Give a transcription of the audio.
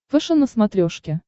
фэшен на смотрешке